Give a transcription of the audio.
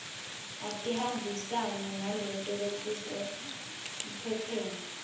atihambisane naleto letisephepheni